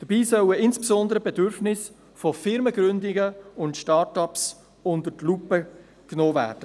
Dabei sollen insbesondere die Bedürfnisse von Firmengründern und Start-ups unter die Lupe genommen werden.